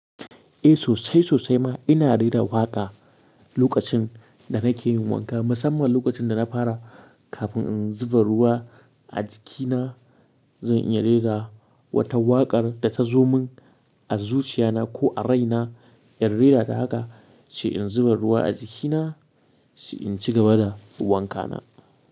Eh sosai sosai ma ina rera waƙa lokacin da nake yin wanka musamman lokacin da na fara kafin in zuba ruwa a jikina. Zan iya rera wata waƙar da ta zo mun a zuciya na ko a rai na. In rera da haka, sai in zuba ruwa a jikina sai in ci gaba da wanka na.